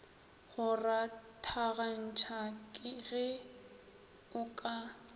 go rathagantšha ge o ka